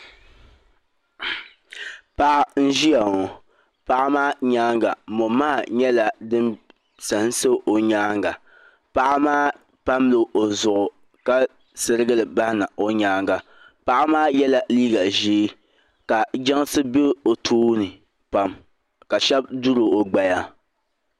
paɣa n ʒeya ŋɔ paɣa maa nyaanga mɔ maha nyɛla din sansa o nyaanga paɣa maa pamla o zuɣu ka sirigili bahina o nyaanga paɣa maa yɛla liiga ʒee ka jansi be o tooni pam ka shɛba duri o gbaya